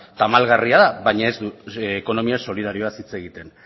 tamalgarria da baina ez du ekonomia solidarioaz hitz egiten